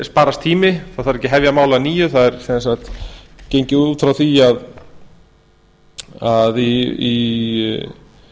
sparast tími það þarf ekki að hefja mál að nýju það er sem sagt gengið út frá því að í